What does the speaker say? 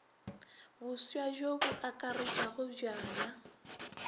boswa bjoo bo akaretšago bjana